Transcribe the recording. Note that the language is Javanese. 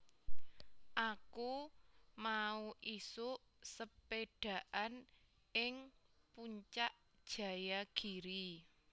Aku mau isuk sepedhaan ing Puncak Jayagiri